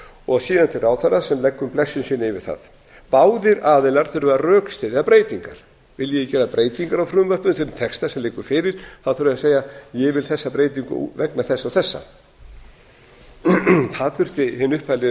og síðan til ráðherra sem leggur blessun sína yfir það báðir aðilar þurfa að rökstyðja breytingar vilji þeir gera breytingar á frumvörpum þeim texta sem liggur fyrir þurfa þeir að segja ég vil þessa breytingu vegna þessa og þessa það þurfti hinn upphaflegi